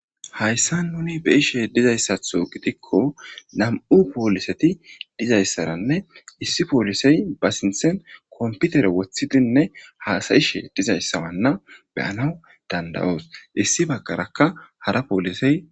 hayssa nuni be'ishe dizayssatho gidikko nam7u pooliseti dizayssaranne issi poolisey ba sinthen komputere wothidinne haasayishe dizayssawanna beyana dandayoos issi baggaraka hara poolisey